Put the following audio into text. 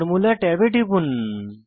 formula ট্যাবে টিপুন